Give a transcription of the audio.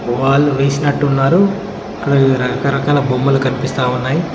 వాళ్ళు వేసినట్టు ఉన్నారు ఇక్కడ రకరకాల బొమ్మలు కనిపిస్తా ఉన్నాయి.